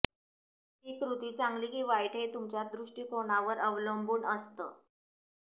ही कृती चांगली की वाईट हे तुमच्या दृष्टिकोनावर अवलंबून असतं